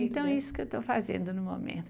Então é isso que eu estou fazendo no momento.